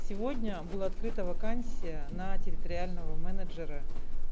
сегодня была открыта вакансия на территориального менеджера